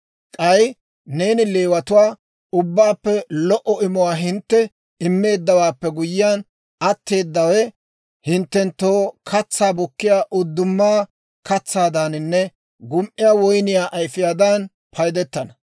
«K'ay neeni Leewatuwaa, ‹Ubbaappe lo"o imuwaa hintte immeeddawaappe guyyiyaan, atteedawe hinttenttoo katsaa bukkiyaa uddumaa katsaadaaninne gum"iyaa woyniyaa ayifiyaadan paydetana.